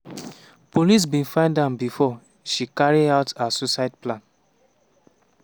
police bin find am bifor she carry out her suicide plan.